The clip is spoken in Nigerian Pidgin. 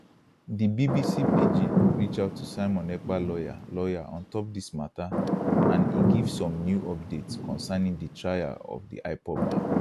di bbc pidgin reach out to simon ekpa lawyer lawyer ontop dis matter and e give some new updates concerning di trial of di ipob man